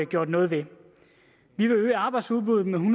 gjort noget ved vi vil øge arbejdsudbuddet med